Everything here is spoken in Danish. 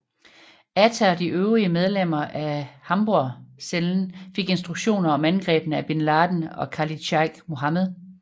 Atta og de øvrige medlemmer af Hamborgcellen fik instruktioner om angrebene af bin Laden og Khalid Sheikh Mohammed